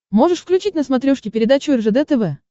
можешь включить на смотрешке передачу ржд тв